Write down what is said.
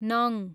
नङ